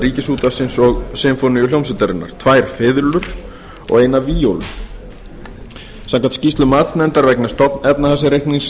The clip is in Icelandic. ríkisútvarpsins og sinfóníuhljómsveitarinnar tvær fiðlur og eina víólu samkvæmt skýrslu matsnefndar vegna stofnefnahagsreiknings